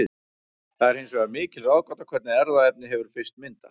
Það er hins vegar mikil ráðgáta hvernig erfðaefni hefur fyrst myndast.